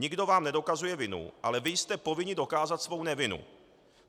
Nikdo vám nedokazuje vinu, ale vy jste povinni dokázat svou nevinu.